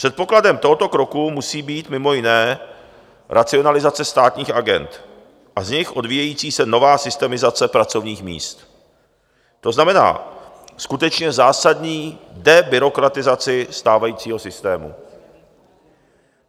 Předpokladem tohoto kroku musí být mimo jiné racionalizace státních agend a z nich odvíjející se nová systemizace pracovních míst, to znamená, skutečně zásadní debyrokratizace stávajícího systému.